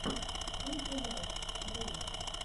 кэти лайф влог